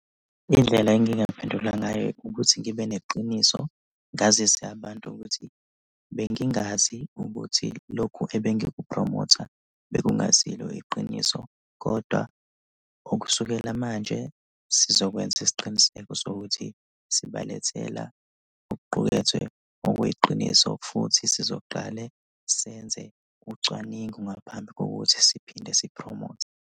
Indlela engingaphendula ngayo ukuthi ngibe neqiniso ngazise abantu ukuthi bengingazi ukuthi lokhu ebengikuphromotha bekungasilo iqiniso kodwa ukusukela manje sizokwenza isiqiniseko sokuthi sibalethela okuqukethwe okuyiqiniso futhi sizoqale senze ucwaningo ngaphambi kokuthi siphinde siphromothe.